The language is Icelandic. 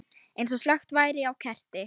Eins og slökkt væri á kerti.